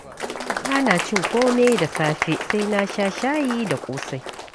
Ba na cin kome da safe sai na sha shayi da ƙosai.